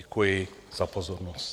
Děkuji za pozornost.